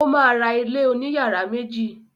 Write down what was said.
O ma ra ilé òní yàrá méjì.